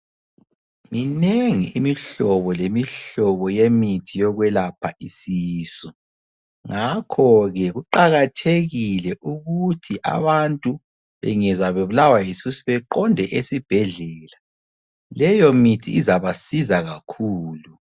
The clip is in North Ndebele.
Minengi imihlobo lemihlobo yemithi yokwelapha isisu. Ngakho ke kuqakathekile ukuthi abantu bengezwa bebulawa yisisu beqonde esibhedlela. Leyo mithi izabasiza kakhulu.